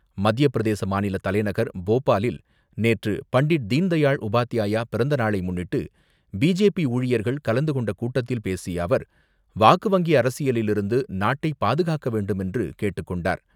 மத்தியப்பிரதேச மாநில தலைநகர் போபாலில் நேற்று பண்டிட் தீன்தயாள் உபாத்யாயா பிறந்த நாளை முன்னிட்டு பிஜேபி ஊழியர்கள் கலந்து கொண்ட கூட்டத்தில் பேசிய அவர், வாக்கு வங்கி அரசியலிலிருந்து நாட்டை பாதுகாக்க வேண்டுமென்று கேட்டுக் கொண்டார்.